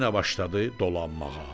Yenə başladı dolanmağa.